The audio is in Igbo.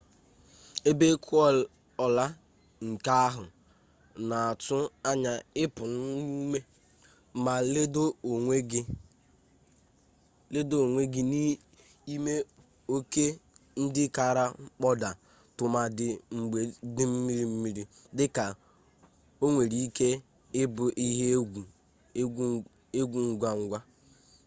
ebe ekuola nke ahụ na-atụ anya ịpụ n'ume ma ledo onwe gị n'ime oke ndị kara kpodaa tụmadị mgbe dị mmiri mmiri dị ka o nwere ike ịbụ ihe egwu ngwa ngwa